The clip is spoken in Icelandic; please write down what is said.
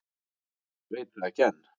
Veit það ekki enn.